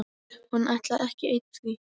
Og hann ætlaði ekki einn því